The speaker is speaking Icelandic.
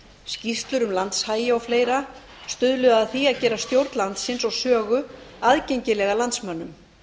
skýrslur um landshagi og fleiri stuðluðu að því að gera stjórn landsins og sögu aðgengilega landsmönnum